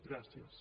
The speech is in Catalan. gràcies